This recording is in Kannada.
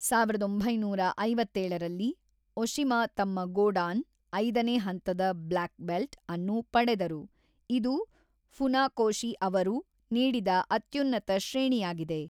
ಸಾವಿರದ ಒಂಬೈನೂರ ಐವತ್ತೇಳರಲ್ಲಿ, ಒಶಿಮಾ ತಮ್ಮ ಗೋಡಾನ್ (ಐದನೇ ಹಂತದ ಬ್ಲ್ಯಾಕ್ ಬೆಲ್ಟ್ ) ಅನ್ನು ಪಡೆದರು, ಇದು ಫುನಾಕೋಶಿ ಅವರು ನೀಡಿದ ಅತ್ಯುನ್ನತ ಶ್ರೇಣಿಯಾಗಿದೆ.